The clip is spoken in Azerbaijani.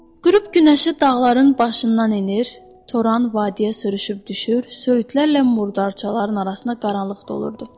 Qurub günəşi dağların başından enir, toran vadiyə sürüşüb düşür, söyüdlərlə murdarçaların arasına qaralıb dolurdu.